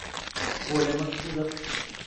коля максудов